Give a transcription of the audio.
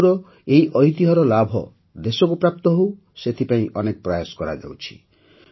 ତେଲୁଗୁର ଏହି ଐତିହ୍ୟର ଲାଭ ଦେଶକୁ ପ୍ରାପ୍ତ ହେଉ ସେଥିପାଇଁ ଅନେକ ପ୍ରୟାସ କରାଯାଉଛି